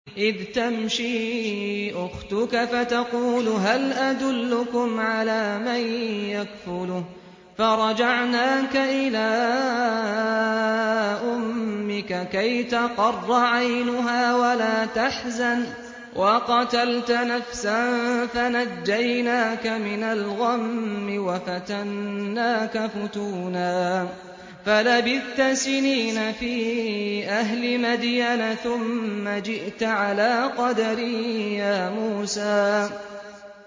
إِذْ تَمْشِي أُخْتُكَ فَتَقُولُ هَلْ أَدُلُّكُمْ عَلَىٰ مَن يَكْفُلُهُ ۖ فَرَجَعْنَاكَ إِلَىٰ أُمِّكَ كَيْ تَقَرَّ عَيْنُهَا وَلَا تَحْزَنَ ۚ وَقَتَلْتَ نَفْسًا فَنَجَّيْنَاكَ مِنَ الْغَمِّ وَفَتَنَّاكَ فُتُونًا ۚ فَلَبِثْتَ سِنِينَ فِي أَهْلِ مَدْيَنَ ثُمَّ جِئْتَ عَلَىٰ قَدَرٍ يَا مُوسَىٰ